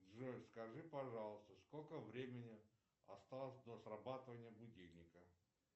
джой скажи пожалуйста сколько времени осталось до срабатывания будильника